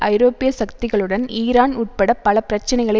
ஐரோப்பிய சக்திகளுடன் ஈரான் உட்பட பல பிரச்சினைகளை